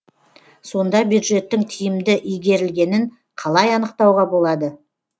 сонда бюджеттің тиімді игерілгенін қалай анықтауға болады